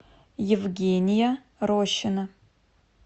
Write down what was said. евгения рощина